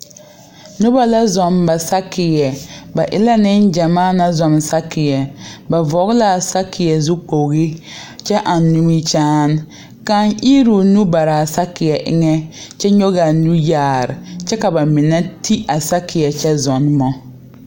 Noba la zɔɔ ba saakeɛ ba e la neŋgyɛmaa naŋ zɔɔ a saakeɛ ba vɔge la a saakeɛ zukpoge kyɛ eŋ nimikyaane kaŋ iri o nu bare a saakeɛ eŋnɛ kyɛ nyɔge a nu yaare kyɛ ka ba mine ti a saakeɛ kyɛ zɔɔnɔ.